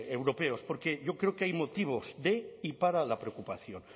europeos porque yo creo que hay motivos de y para la preocupación